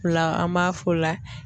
O la an m'a f'o la